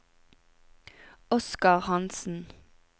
Oskar Hansen